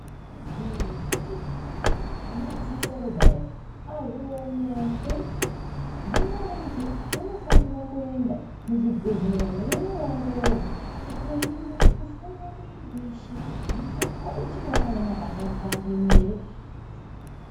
Kune zvimweni zvitenda zvekuti ngemadziso kudai azviwonekwi, hino vantu vanofanira kuenda muzvibhedhlera umo veiowongororwa, kumbooningirwa, kuhloiwa miri weshe kuti miri wako uchiri wakaema pandau, pandimo ere.